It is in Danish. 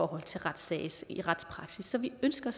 retspraksis så vi ønsker